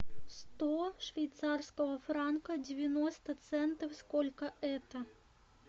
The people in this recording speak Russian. сто швейцарского франка девяносто центов сколько это